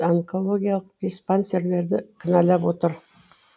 онкологиялық диспансерлерді кінәлап отыр